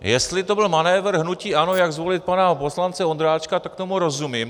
Jestli to byl manévr hnutí ANO, jak zvolit pana poslance Ondráčka, tak tomu rozumím.